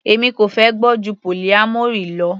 Èmi kò fẹ́ gbọ́ ju polyamory lọ.